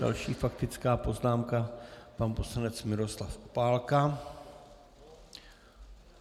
Další faktická poznámka, pan poslanec Miroslav Opálka.